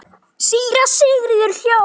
Síra Sigurður hló.